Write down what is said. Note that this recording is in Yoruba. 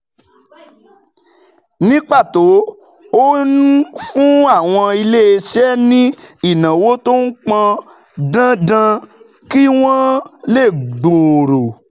Ní pàtó, ó ń fún àwọn iléeṣẹ́ ní ìnáwó tó pọn dandan kí wọ́n lè gbòòrò